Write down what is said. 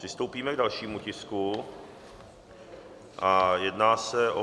Přistoupíme k dalšímu tisku a jedná se o